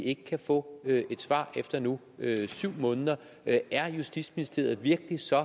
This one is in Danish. ikke kan få et svar efter nu syv måneder er er justitsministeriet virkelig så